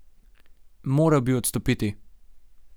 Moral bi odstopiti.